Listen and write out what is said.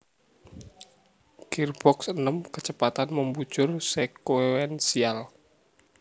Girboks enem kecepatan membujur sekuensial